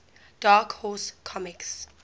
dark horse comics